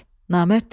Namərd dedi: